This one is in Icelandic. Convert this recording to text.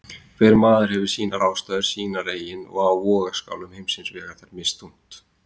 Hver maður hefur sínar ástæður, sínar eigin og á vogarskálum heimsins vega þær misþungt.